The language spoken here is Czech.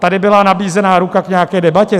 Tady byla nabízena ruka k nějaké debatě.